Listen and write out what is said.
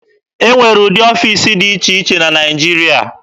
E nwere ụdị ọfiisi dị iche iche na Naịjirịa.